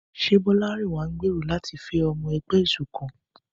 Ṣé Bolarinwa ń gbèrò láti fẹ́ ọmọ ẹgbẹ́ ìṣọ̀kan?